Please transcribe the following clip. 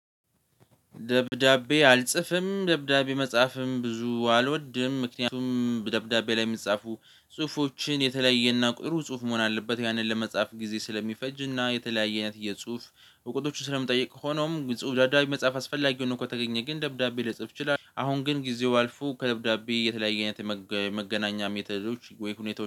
ደብዳቤ አልጽፍም ደብዳቤ መጻፍም ብዙ አልወድም ምክንያቱም ደብዳቤ ላይ የሚጻፉ ጽሁፎችን የተለያየ እና ጥሩ ጽሁፍ መሆን አለበት ያንን ለመጻፍ ጊዜ ስለሚፈጅ እና የተለያየ አይነት የጽሁፍ እውቀቶች ስለሚጠይቅ። ሆኖም ጽሁፍ ደብዳቤ መጽሐፍ አስፈላጊ ሆኖ ከተገኘ ግን ደብዳቤ ልጽፍ ችላለሁ። አሁን ግን ጊዜው አልፎ ከደብዳቤ የተለያየ አይነት የመገናኛ ሜተዶች ወይ ሁኔታዎች